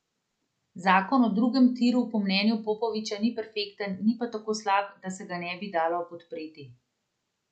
Zakon o drugem tiru po mnenju Popoviča ni perfekten, ni pa tako slab, da se ga ne bi dalo podpreti.